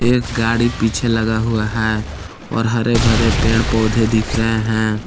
एक गाड़ी पीछे लगा हुआ है और हरे भरे पेड़ पौधे दिख रहे हैं।